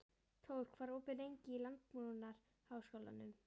Tór, hvað er opið lengi í Landbúnaðarháskólanum?